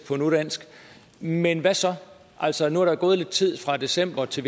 på nudansk men hvad så altså nu er der jo gået lidt tid fra december til